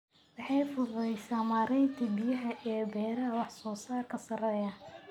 Waxay fududaysaa maareynta biyaha ee beeraha wax-soo-saarka sarreeya.